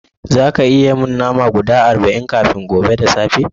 Zaka iya yi mun fi na nama guda arba'in kafin gobe da safe?